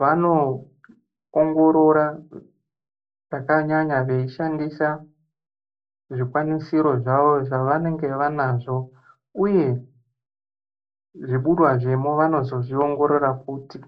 vanoongorora kakanyanya veishandisa zvikwanisiro zvavo zvavanenge vanazvo uye zviburwa zvemo vanozozviongorora futi.